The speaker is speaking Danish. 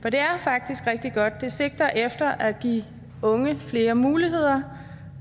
er faktisk rigtig godt det sigter efter at give unge flere muligheder